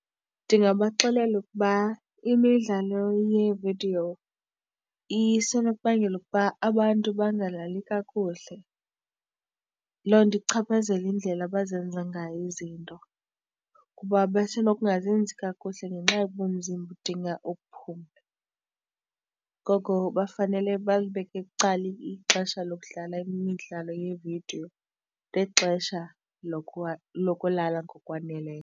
Ndingabaxelela ukuba imidlalo yeevidiyo isenokubangela ukuba abantu bangalali kakuhle. Loo nto ichaphazele indlela abazenza ngayo izinto. Kuba basenokungazenzi kakuhle ngenxa yoba umzimba udinga ukuphumla, ngoko bafanele balibeke bucala ixesha lokudlala imidlalo yeevidiyo nexesha lokulala ngokwaneleyo.